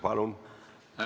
Palun!